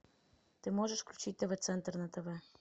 ты можешь включить тв центр на тв